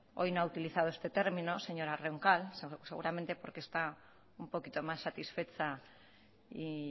hoy no ha utilizado este término señora roncal seguramente porque está un poquito más satisfecha y